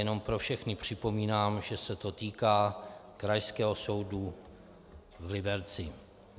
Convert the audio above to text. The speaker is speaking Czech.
Jenom pro všechny připomínám, že se to týká Krajského soudu v Liberci.